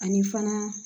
Ani fana